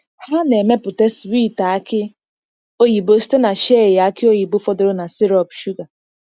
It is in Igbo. Ha na-emepụta swiiti aki oyibo site na shei aki oyibo fọdụrụ na sirop shuga.